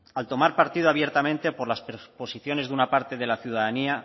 al tomar partido abiertamente por las posiciones de una parte de la ciudadanía